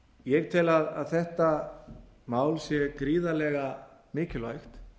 ég tel að þetta mál sé gríðarlega mikilvægt